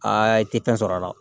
i tɛ fɛn sɔrɔ a la